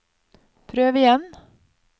prøv igjen